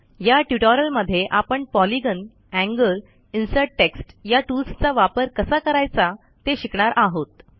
या ट्युटोरियलमध्ये आपण पॉलिगॉन एंगल इन्सर्ट टेक्स्ट या टूल्सचा वापर कसा करायचा ते शिकणार आहोत